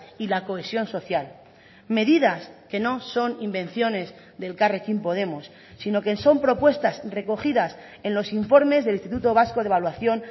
y la cohesión social medidas que no son invenciones de elkarrekin podemos sino que son propuestas recogidas en los informes del instituto vasco de evaluación